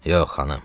Yox, xanım.